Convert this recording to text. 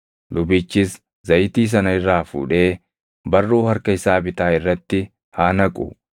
Lubichis zayitii sana irraa fuudhee barruu harka isaa bitaa irratti haa naqu;